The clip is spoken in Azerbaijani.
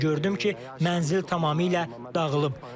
Və gördüm ki, mənzil tamamilə dağılıb.